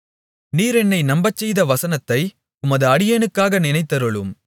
நீர் என்னை நம்பச்செய்த வசனத்தை உமது அடியேனுக்காக நினைத்தருளும்